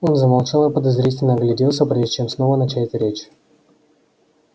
он замолчал и подозрительно огляделся прежде чем снова начать речь